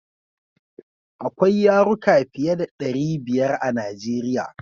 Akwai yaruka fiye da ɗari biyar a Najeriya.